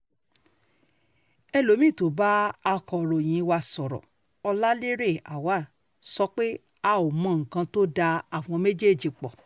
elomi-ín tó bá akọ̀ròyìn wa sọ̀rọ̀ ọláléré awaw sọ pé a ò mọ nǹkan tó da àwọn méjèèjì pọ̀